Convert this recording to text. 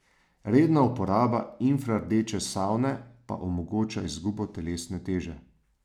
Redna uporaba infrardeče savne pa omogoča izgubo telesne teže.